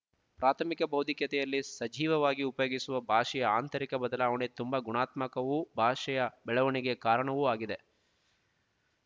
ಪ್ರಾಥಮಿಕ ಭೌತಿಕತೆಯಲ್ಲಿ ಸಜೀವವಾಗಿ ಉಪಯೋಗಿಸುವ ಭಾಷೆಯ ಆಂತರಿಕ ಬದಲಾವಣೆ ತುಂಬಾ ಗುಣಾತ್ಮಕವೂ ಭಾಷೆಯ ಬೆಳವಣಿಗೆ ಕಾರಣವೂ ಆಗಿದೆ